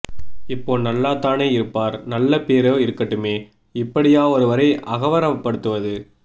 இப்போ நல்லாத்தானே இருப்பார் நல்ல பேரா இருக்கட்டுமே இப்படியா ஒருவரை அகவ்ரவப் படுத்துவது